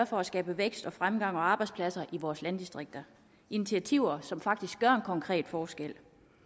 for at skabe vækst fremgang og arbejdspladser i vores landdistrikter initiativer som faktisk gør konkret forskel